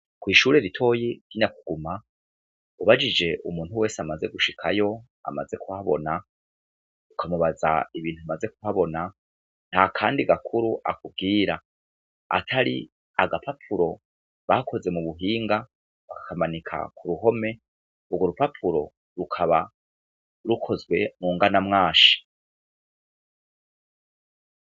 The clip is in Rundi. Kw'ishure ritoyi ry'Inyakuguma, ubajije umuntu wese amaze gushikayo, amaze kuhabona, ukamubaza ibintu amaze kuhabona, nta Kandi gakuru akubwira, atari agapapuro bakoze mu buhinga , bakakamanika ku ruhome, urwo rupapuro rukaba rukozwe mu nganamwashi.